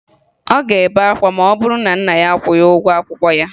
Ọ ga-ebe akwa ma ọ bụrụ na nna ya akwụghị ụgwọ akwụkwọ ya